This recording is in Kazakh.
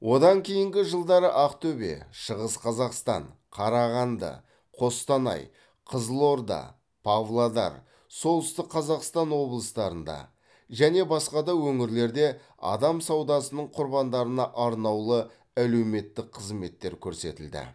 одан кейінгі жылдары ақтөбе шығыс қазақстан қарағанды қостанай қызылорда павлодар солтүстік қазақстан облыстарында және басқа да өңірлерде адам саудасының құрбандарына арнаулы әлеуметтік қызметтер көрсетілді